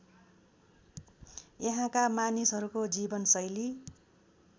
यहाँका मानिसहरूको जीवनशैली